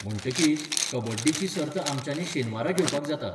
म्हणटकीच, कबड्डीची सर्त आमच्यानी शेनवारा घेवपाक जाता.